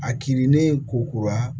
A kirinnen ko kura